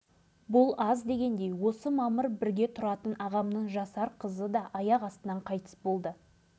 дәрігерлерден де осындай қатыгездік шығады екен-ау баламызды бауырымызға басып жылай елге қайттық содан бері қайғы жұтып